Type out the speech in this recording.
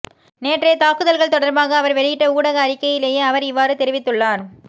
நேற்றைய தாக்குதல்கள் தொடர்பாக அவர் வெளியிட்ட ஊடக அறிக்கையிலேயே அவர் இவ்வாறு தெரிவித்துள்ளார்